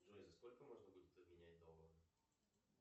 джой за сколько можно будет обменять доллары